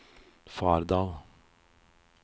Fardal